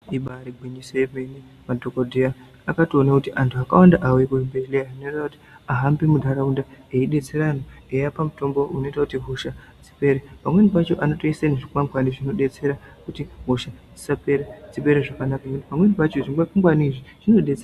Ibari gwinyiso emene madhokodheya akatoona kuti antu akawanda auye kuzvibhedhleya zvinoreva kuti ahambe munharaunda eibetsera anhu eipa mitombo inoita kuti hosha dzipere pamweni pacho anotoise zvikwangwani zvinobetsera kuti hosha dzisapere dzipere zvakanaka, pamweni pacho zvikwangwani zvinodetsera.